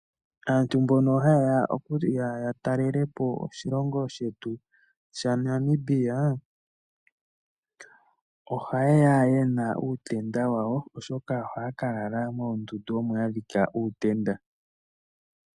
Aantu mboka ha yeya okutalelapo oshilongo shetu shaNamibia oha yeya yena uutenda wawo oshoka moondundu omo haya kadhika uutenda.